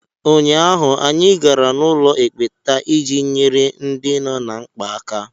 Ụnyaahụ, anyị gara n'ụlọ ekpenta iji nyere ndị nọ ná mkpa aka.